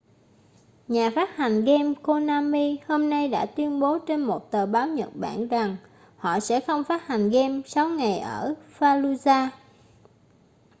nhà phát hành game konami hôm nay đã tuyên bố trên một tờ báo nhật bản rằng họ sẽ không phát hành game sáu ngày ở fallujah